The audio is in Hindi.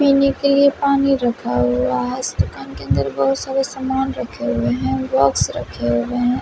पीने के लिए पानी रखा हुआ है इस दुकान के अंदर बहुत सारे सामान रखे हुए हैं बॉक्स रखे हुए हैं।